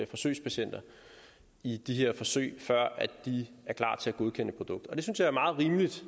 forsøgspatienter i de her forsøg før de er klar til at godkende et produkt og det synes jeg er meget rimeligt